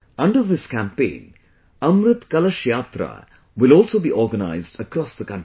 Under this campaign, 'Amrit Kalash Yatra' will also be organised across the country